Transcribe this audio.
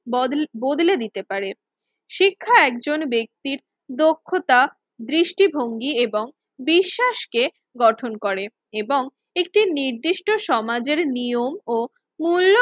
বদল বদলে দিতে পারে, শিক্ষা একজন ব্যক্তির দক্ষতা দৃষ্টিভঙ্গি এবং বিশ্বাসকে গঠন করে এবং একটি নির্দিষ্ট সমাজের নিয়ম ও মূল্য